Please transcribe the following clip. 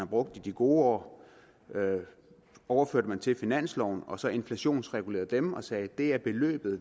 brugt i de gode år overførte man til finansloven og så inflationsregulerede man dem og sagde det er det beløb